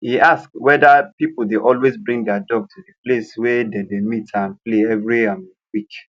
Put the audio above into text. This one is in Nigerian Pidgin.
he ask whether people dey always bring their dog to the place wey they dey meet and play every um week